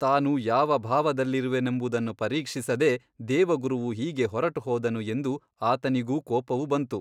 ತಾನು ಯಾವ ಭಾವದಲ್ಲಿರುವೆನೆಂಬುದನ್ನು ಪರೀಕ್ಷಿಸದೆ ದೇವಗುರುವು ಹೀಗೆ ಹೊರಟುಹೋದನು ಎಂದು ಆತನಿಗೂ ಕೋಪವು ಬಂತು.